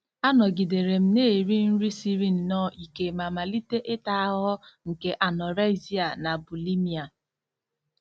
Anọgidere m na-eri nri siri nnọọ ike ma malite ịta ahụhụ nke anorexia na bulimia.